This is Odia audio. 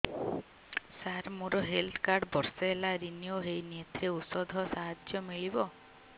ସାର ମୋର ହେଲ୍ଥ କାର୍ଡ ବର୍ଷେ ହେଲା ରିନିଓ ହେଇନି ଏଥିରେ ଔଷଧ ସାହାଯ୍ୟ ମିଳିବ